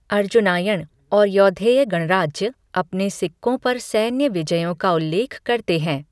अर्जुनायण और यौधेय गणराज्य अपने सिक्कों पर सैन्य विजयों का उल्लेख करते हैं।